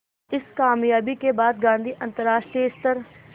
इस क़ामयाबी के बाद गांधी अंतरराष्ट्रीय स्तर